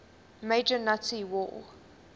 major nazi war